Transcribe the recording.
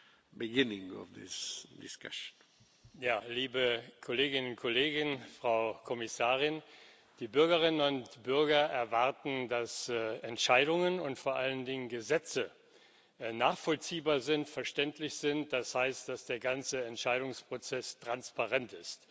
Herr Präsident, Liebe Kolleginnen und Kollegen, Frau Kommissarin! Die Bürgerinnen und Bürger erwarten, dass Entscheidungen und vor allen Dingen Gesetze nachvollziehbar und verständlich sind, das heißt, dass der ganze Entscheidungsprozess transparent ist.